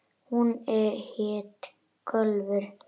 Hún hét Kólfur.